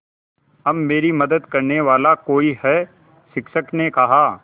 अब मेरी मदद करने वाला कोई है शिक्षक ने कहा